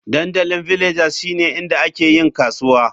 Dandalin Villagers shine inda ake yin kasuwa.